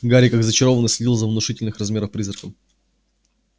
гарри как зачарованный следил за внушительных размеров призраком